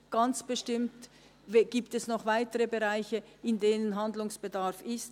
Ganz bestimmt gibt es noch weitere Bereiche, in denen noch Handlungsbedarf besteht.